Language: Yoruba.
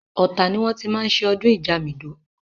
Ọ̀tà ni wọ́n ti máa ń ṣe ọdún Ìjamìdó.